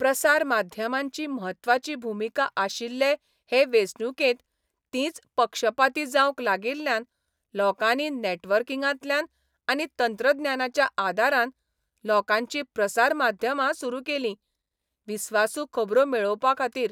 प्रसार माध्यमांची म्हत्वाची भुमिका आशिल्ले हे वेंचणुकेंत तींच पक्षपाती जावंक लागिल्यान लोकांनी नॅटवर्किंगांतल्यान आनी तंत्रज्ञानाच्या आदारान लोकांचीं प्रसार माध्यमां सुरू केलीं विस्वासू खबरो मेळोवपा खातीर.